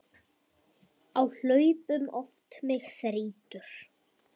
Á hlaupum oft mig þrýtur.